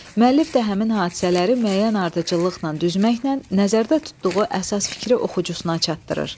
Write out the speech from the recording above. Müəllif də həmin hadisələri müəyyən ardıcıllıqla düzməklə nəzərdə tutduğu əsas fikri oxucusuna çatdırır.